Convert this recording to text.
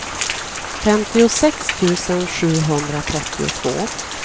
femtiosex tusen sjuhundratrettiotvå